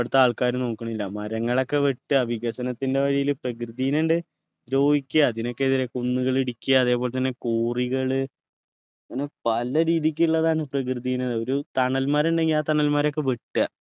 ഇവിടത്തെ ആൾക്കാർ നോക്കിണില്ല മരങ്ങളൊക്കെ വെട്ടുക വികസനത്തിൻ്റെ വഴിയിൽ പ്രകൃതിനെ ണ്ട് ദ്രോഹിക്കിയ അതിനൊക്കെ എതിരെ കുന്നുകൾ ഇടിക്കിയ അതേപോലെതന്നെ quarry കൾ അങ്ങനെ പലരീതിക്കുള്ളതാണ് പ്രകൃതിനെ ഒരു തണൽ മരങ്ങൾ ഉണ്ടെങ്കി ആ തണൽ മരൊക്കെ വെട്ടുക